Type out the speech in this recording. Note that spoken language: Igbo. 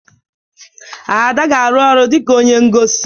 Ada ga-arụ ọrụ dị ka onye ngosi.